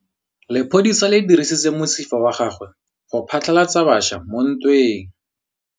Lepodisa le dirisitse mosifa wa gagwe go phatlalatsa batšha mo ntweng.